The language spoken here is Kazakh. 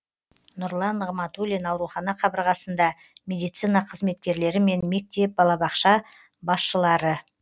нұрлан нығматулин аурухана қабырғасында медицина қызметкерлерімен мектеп балабақша басшылары